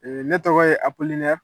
ne tɔgɔ ye Apolinɛr